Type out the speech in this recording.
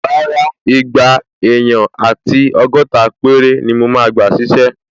Rárá, igba èèyàn àti ọgọ́ta péré ni mo máa gbà ṣísẹ́